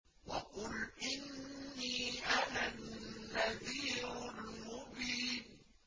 وَقُلْ إِنِّي أَنَا النَّذِيرُ الْمُبِينُ